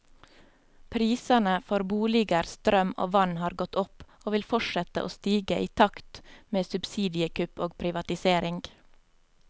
Prisene for boliger, strøm og vann har gått opp, og vil fortsette å stige i takt med subsidiekutt og privatisering.